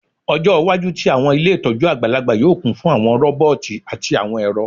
Ọjọ iwaju ti awọn ile itọju agbalagba yoo kun fun awọn roboti ati awọn ẹrọ